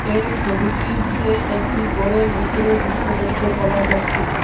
এই ছবিটিরতে একটি ঘরের ভিতরের দৃশ্য দেখতে পাওয়া যাচ্ছে।